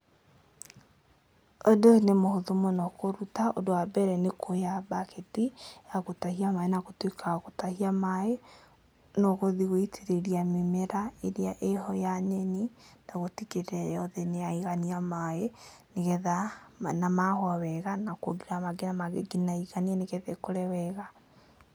Ũndũ ũyũ nĩ mũhũthũ mũno kũruta, ũndũ wa mbere nĩ kuoya mbaketi ya gũtahia maĩ, na gũtuĩka wa gũtahia maĩ, nĩ ũgũthiĩ gũitĩrĩria mĩmera ĩrĩa ĩho ya nyeni na gũtigĩrĩra yothe nĩ yaigania maĩ, nĩgetha, na mahũa wega na kuongerera mangĩ na mangĩ nginya ĩiganie, nĩgetha ĩkũre wega.